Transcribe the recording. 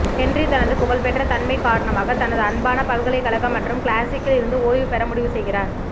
Henry தனது புகழ்பெற்ற தன்மை காரணமாக தனது அன்பான பல்கலைக்கழக மற்றும் கிளாசிக்கில் இருந்து ஓய்வு பெற முடிவு செய்கிறார்